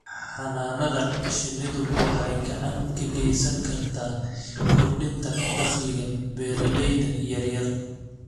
Xannaanada shinnidu waxay gacan ka geysan kartaa kordhinta dakhliga beeralayda yaryar.